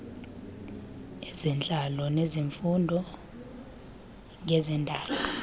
ezentlalo nezifundo ngezendalo